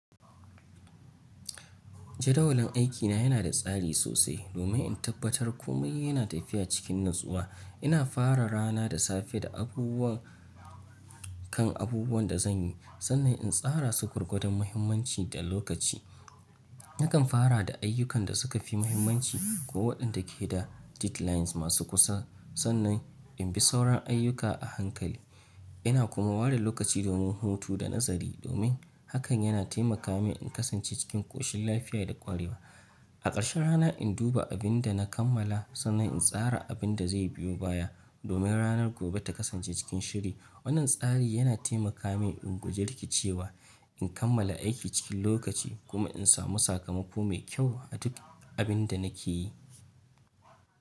Jadawalin aikina yana da tsari sosai domin in tabbatar kome yana tafiya cikin natsuwa. Ina fara rana da safe da abubuwan, kan abubuwan da zan yi sannan in tsara su gwargwadon muhimmanci da lokaci. Nakan fara da ayyukan da suka fi muhimmanci ko waɗanda ke da deadlines masu kusa sannan in bi sauran ayyuka a hankali. Ina kuma ware lokaci domin hutu da nazari domin hakan yana taimaka min in kasance cikin ƙoshin lafiya da ƙwarewa. A ƙarshen rana, in duba abin da na kammala sannan in tsara abin da zai biyo baya domin ranar gobe ta kasance cikin shiri. Wannan tsari yana taimaka min in guji rikicewa, in kammala aiki cikin lokaci kuma in samu sakamako mai kyau a duk abin da nake yi.